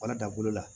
Wala da bolo la